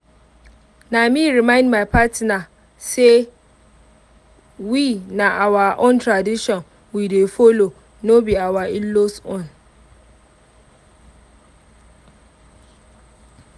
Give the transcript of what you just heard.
na me remind my partner say we na our own tradition we dey follow no be our in-laws own